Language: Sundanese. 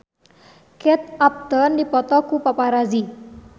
Kate Upton dipoto ku paparazi